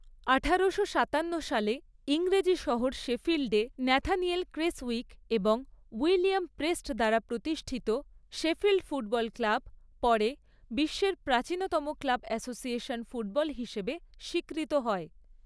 আঠারোশো সাতান্ন সালে, ইংরেজি শহর শেফিল্ডে ন্যাথানিয়েল ক্রেসউইক এবং উইলিয়াম প্রেস্ট দ্বারা প্রতিষ্ঠিত শেফিল্ড ফুটবল ক্লাব, পরে, বিশ্বের প্রাচীনতম ক্লাব অ্যাসোসিয়েশন ফুটবল হিসেবে স্বীকৃত হয়।